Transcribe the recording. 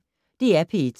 DR P1